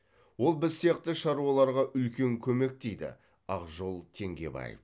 ол біз сияқты шаруаларға үлкен көмек дейді ақжол теңгебаев